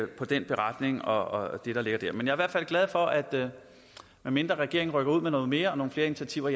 på den beretning og det der ligger der men er hvert fald glad for at medmindre regeringen rykker ud med noget mere og nogle flere initiativer